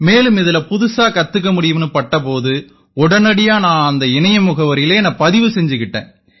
மேலும் இதில புதுசா கத்துக்க முடியும்னு பட்ட போது உடனடியா நான் அந்த இணைய முகவரியில என்னை பதிவு செஞ்சுக்கிட்டேன்